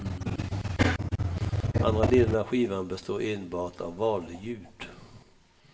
Andra delen av skivan består enbart av valljud.